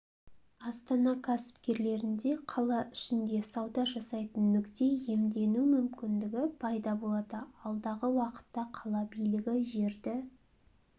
астана кәсіпкерлерінде қала ішінде сауда жасайтын нүкте иемдену мүмкіндігі пайда болады алдағы уақытта қала билігі жерді